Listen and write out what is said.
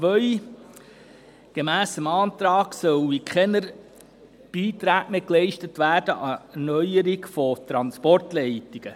2. Gemäss diesem Antrag sollen an die Erneuerung der Transportleitungen keine Beiträge mehr bezahlt werden.